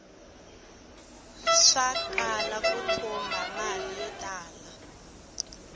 swakala ku thumba mali yo tala